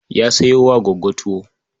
Ya sayo wa Gwaggo tuwo.